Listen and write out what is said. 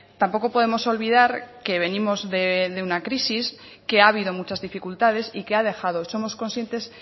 tampoco podemos olvidar que venimos de una crisis que ha habido muchas dificultades y que ha dejado somos conscientes